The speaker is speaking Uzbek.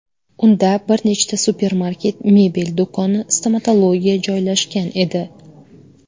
Unda bir nechta supermarket, mebel do‘koni, stomatologiya joylashgan edi.